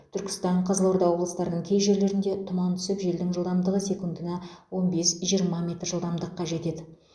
түркістан қызылорда облыстарының кей жерлерінде тұман түсіп желдің жылдамдығы секундына он бес жиырма метр жылдамдыққа жетеді